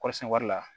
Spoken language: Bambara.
Kɔrɔsɛn wari la